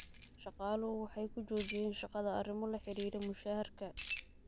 Shaqaaluhu waxay kujojiyen shaqada arrimo la xidhiidha mushaharka.